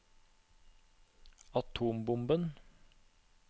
atombomben